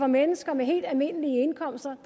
mennesker med helt almindelige indkomster